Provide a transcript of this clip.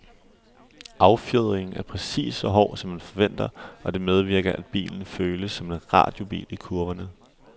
Affjedringen er præcis så hård, som man forventer, og det medvirker, at bilen føles som en radiobil i kurverne.